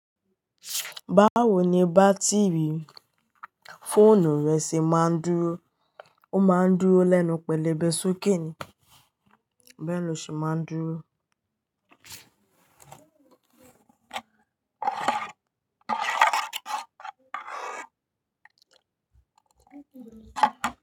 Báwo ni bátìrì fóònù rẹ ṣe máa ń dúró, ó máa ń dúró lẹ́nu pẹ̀lebẹ̀ sókè ni. Bẹ́ẹ̀ lọ ṣe máa ń dúró.